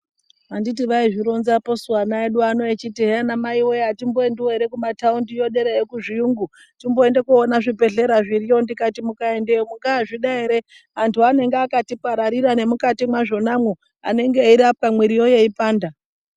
Anditi vaizvi ronzapo su ana edu ano echiti hee ana mai wee atimboendiwo ere ekuma tawundi yo dera yo ku zviyungu timboende koona zvi bhedhleya zviriyo ndikati mukaendeyo munga zvida ere antu anenge akati pararira ne mukati mwazvona mwo anenge eyirapa mwiriyo yeipanda.